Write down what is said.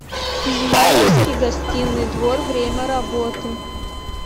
измайловский гостиный двор время работы